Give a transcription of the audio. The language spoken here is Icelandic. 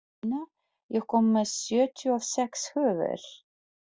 Selina, ég kom með sjötíu og sex húfur!